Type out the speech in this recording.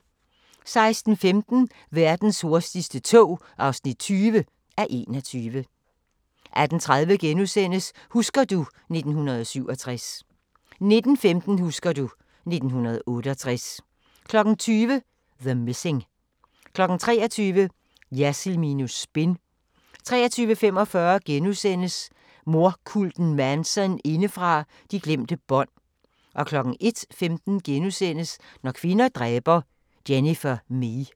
16:15: Verdens hurtigste tog (20:21) 18:30: Husker du ... 1967 * 19:15: Husker du ... 1968 20:00: The Missing 23:00: Jersild minus spin 23:45: Mordkulten Manson indefra – De glemte bånd * 01:15: Når kvinder dræber – Jennifer Mee *